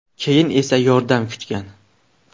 Keyin esa yordam kutgan.